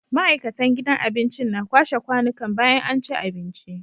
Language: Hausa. ma'aikatan gidan abincin na kwashe kwanikan bayan anci abinci